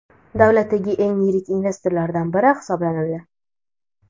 davlatdagi eng yirik investorlardan biri hisoblanadi.